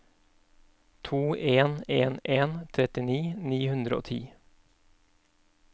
to en en en trettini ni hundre og ti